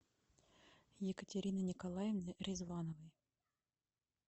екатерины николаевны ризвановой